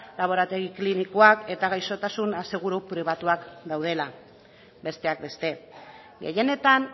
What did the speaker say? laborategi klinikoak eta gaixotasun aseguru pribatuak daudela besteak beste gehienetan